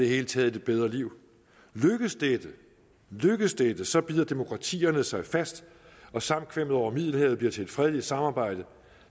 hele taget det bedre liv lykkes dette så bider demokratierne sig fast og samkvemmet over middelhavet bliver til et fredeligt samarbejde